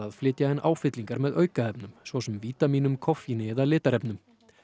flytja inn áfyllingar með aukaefnum svo sem vítamínum koffíni eða litarefnum